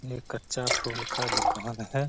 ये कच्चा फूल का दुकान है।